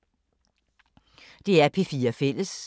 DR P4 Fælles